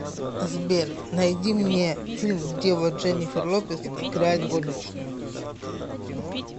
сбер найди мне фильм где вот дженнифер лопес играет горничную